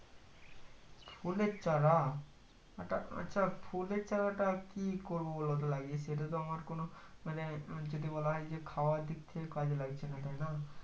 ফুলের চারা এটা আচ্ছা ফুলের চারাটা কি করবো বলতো লাগিয়ে সেটাতো আমার কোনো মানে যদি বলা হয় খাওয়ার দিক থেকে কাজে লাগছে না তাই না